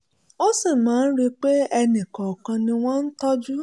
ó sì máa ń rí i pé ẹnì kọ̀ọ̀kan ni wọ́n ń tọ́jú